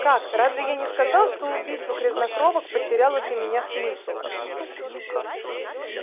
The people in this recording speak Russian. как разве я не сказал что убийство грязнокровок потеряло для меня смысл